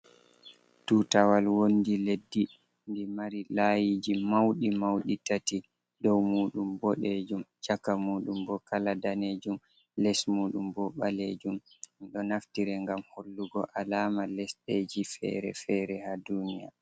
Tutawal wondi leddi ndi mari layiji mawɗi mawɗi tati, dow muuɗum boɗeejum ,caka muuɗum bo kala daneejum, les muuɗum bo ɓaleejum. Ɓe ɗo naftire ngam hollugo alaama lesdeji fere-fere haa duuniya.